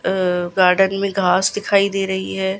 अ garden में घास दिखाई दे रही है।